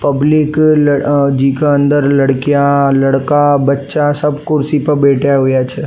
Public जीका अंदर लड़किया लड़का बच्चा सब कुर्सी पर बैठया हुआ छे।